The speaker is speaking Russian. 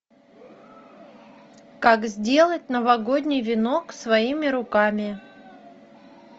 как сделать новогодний венок своими руками